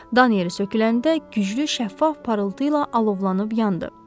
Dan yeri söküləndə güclü şəffaf parıltı ilə alovlanıb yandı.